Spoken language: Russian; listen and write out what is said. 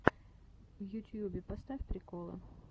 в ютьюбе поставь приколы